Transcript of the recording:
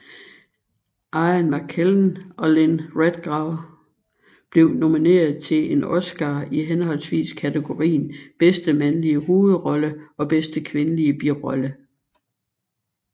Ian McKellen og Lynn Redgrave blev nomineret til en Oscar i henholdsvis kategorien bedste mandlige hovedrolle og bedste kvindelige birolle